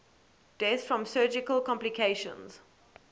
deaths from surgical complications